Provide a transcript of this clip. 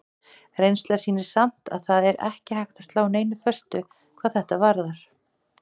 Reynslan sýnir samt að það er ekki hægt að slá neinu föstu hvað þetta varðar.